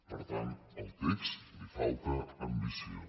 per tant al text li falta ambició